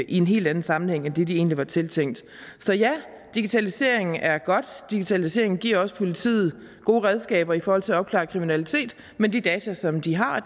en helt anden sammenhæng end det de egentlig var tiltænkt så ja digitalisering er godt digitaliseringen giver også politiet gode redskaber i forhold til at opklare kriminalitet men de data som de har